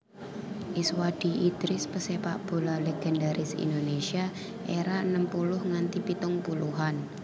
Iswadi Idris pesepakbola legendaris Indonesia era enem puluh nganti pitung puluhan